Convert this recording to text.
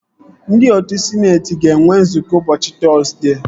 Ndị otu sịneetị ga-enwe nzukọ ụbọchị Tọzdee